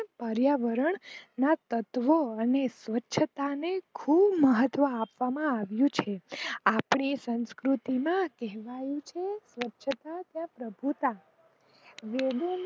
પરિયાવરણ ના તત્વો અને સ્વછતા ને ખુબ મહત્વ આપવામાં આવીઓ છેઆપણી સાંસુકૃતિ માં કહેવાઉં છે કે સ્વચ્છ ત્યાં પ્રભુતા વેદોના